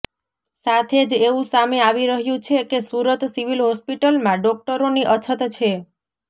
સાથે જ એવું સામે આવી રહ્યું છે કે સુરત સિવિલ હોસ્પિટલમાં ડોક્ટરોની અછત છે